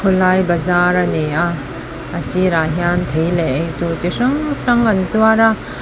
lai bazar ani a a sirah hian thei leh eitur chi hrang hrang an zuar a.